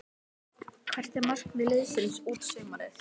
Hvert er markmið liðsins út sumarið?